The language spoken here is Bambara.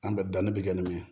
An bɛ danni bɛ kɛ nin min ye